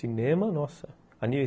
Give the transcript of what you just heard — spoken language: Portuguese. Cinema, nossa!